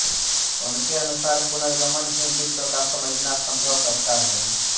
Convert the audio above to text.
उनके अनुसार पुनर्गमन ही विश्व का समझना सम्भव करता है